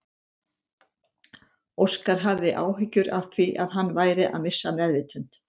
Óskar hafði áhyggjur af því að hann væri að missa meðvitund.